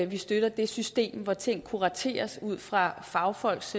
vi støtter det system hvor ting kurateres ud fra fagfolks